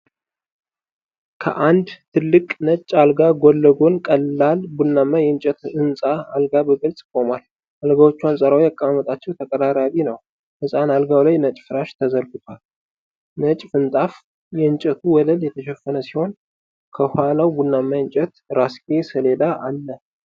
ከአንድ ትልቅ ነጭ አልጋ ጎንለጎን ቀላል ቡናማ የእንጨት ሕፃን አልጋ በግልጽ ቆሟል። አልጋዎቹ አንጻራዊ አቀማመጣቸው ተቀራራቢ ነው፣ ሕፃን አልጋው ላይ ነጭ ፍራሽ ተዘርግቷል። ነጭ ምንጣፍ የእንጨቱን ወለል የሸፈነ ሲሆን፣ ከኋላው ቡናማ የእንጨት የራስጌ ሰሌዳ አለ።